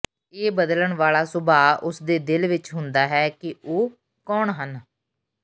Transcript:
ਇਹ ਬਦਲਣ ਵਾਲਾ ਸੁਭਾਅ ਉਸ ਦੇ ਦਿਲ ਵਿਚ ਹੁੰਦਾ ਹੈ ਕਿ ਉਹ ਕੌਣ ਹਨ